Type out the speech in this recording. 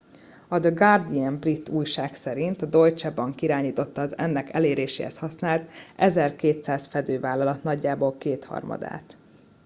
a the guardian brit újság szerint a deutsche bank irányította az ennek eléréséhez használt 1200 fedővállalat nagyjából kétharmadát